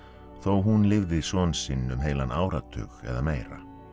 þó hún lifði son sinn um heilan áratug eða meira